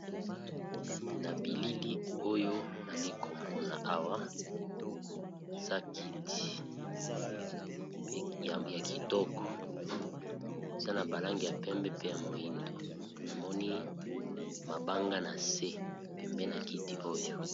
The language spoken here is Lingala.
Na bilili oyo nazomona awa eza kiti ya kitoko eza na ba langi ya pembe , pe na langi moindo, namoni mabanga na se pembe ya kiti .